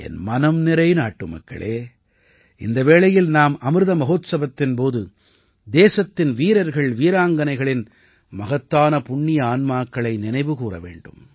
என் மனம்நிறை நாட்டுமக்களே இந்த வேளையில் நாம் அமிர்த மஹோத்ஸவத்தின் போது தேசத்தின் வீரர்கள்வீராங்கனைகளின் மகத்தான புண்ணிய ஆன்மாக்களை நினைவு கூர வேண்டும்